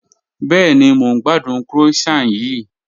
Bẹẹni, mọ̀ n gbàdùn croissant yìí